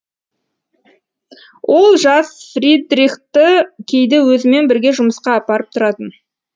ол жас фридрихті кейде өзімен бірге жұмысқа апарып тұратын